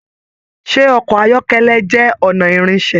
Ṣe ọkọ ayọkẹlẹ jẹ ọnà ìrìnṣẹ̀?